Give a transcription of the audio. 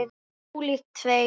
Ólíkt þér.